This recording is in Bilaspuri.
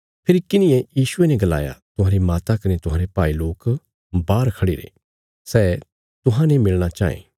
फेरी किन्हिये यीशुये ने गलाया तुहांरी माता कने तुहांरे भाई लोक बाहर खढ़िरे सै तुहांजो मिलणा चाँये